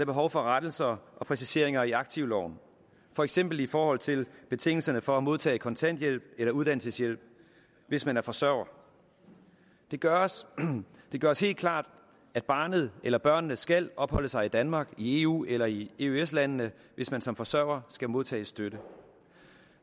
behov for rettelser og præciseringer i aktivloven for eksempel i forhold til betingelserne for at modtage kontanthjælp eller uddannelseshjælp hvis man er forsørger det gøres det gøres helt klart at barnet eller børnene skal opholde sig i danmark i eu eller i eøs landene hvis man som forsørger skal modtage støtte